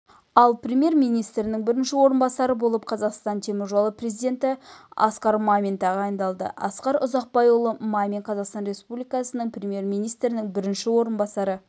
ал премьер-министрінің бірінші орынбасары болып қазақстан теміржолы президенті асқар мамин тағайындалды асқар ұзақбайұлы мамин қазақстан республикасының премьер-министрінің бірінші орынбасары